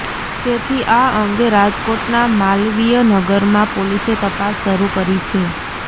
તેથી આ અંગે રાજકોટના માલવીય નગરમાં પોલીસે તપાસ શરૂ કરી છે